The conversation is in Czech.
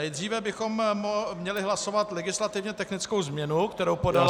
Nejdříve bychom měli hlasovat legislativně technickou změnu, kterou podala paní -